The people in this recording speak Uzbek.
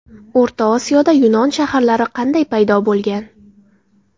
O‘rta Osiyoda yunon shaharlari qanday paydo bo‘lgan?